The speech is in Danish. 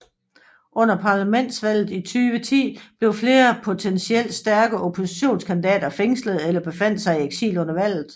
Under parlamentsvalget i 2010 blev flere potensielt stærke oppositionskandidater fængslede eller befandt sig i eksil under valget